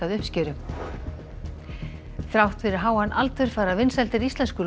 við uppskeruna þrátt fyrir háan aldur fara vinsældir íslensku